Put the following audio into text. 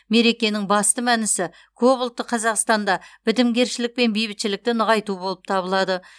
мерекенің басты мәнісі көпұлтты қазақстанда бітімгершілік пен бейбітшілікті нығайту болып табылады